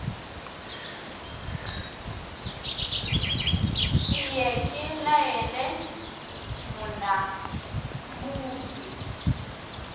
ke ye ke laele monamudi